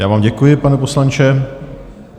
Já vám děkuji, pane poslanče.